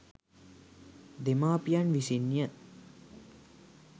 දෙමාපියන් විසින් ය.